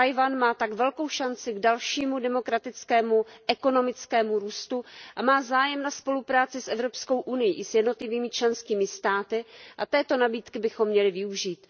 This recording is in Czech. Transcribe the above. Tchaj wan má tak velkou šanci k dalšímu demokratickému a ekonomickému růstu a má zájem na spolupráci s EU i s jednotlivými členskými státy a této nabídky bychom měli využít.